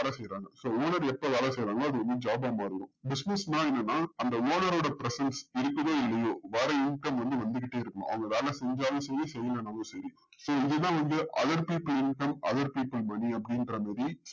so owner எப்போ வேல செய்றாங்களோ அது வந்து job ஆ மாறுது business னா என்னன்னா அந்த owner ஓட presents இருக்குதோ இல்லையோ வர income வந்து வந்துட்டே இருக்கும் அவங்க வேல செஞ்சாலும் சரி செய்யலனாலும் சரி so இதுதான் வந்து other people income other people money அப்டின்ற மாறி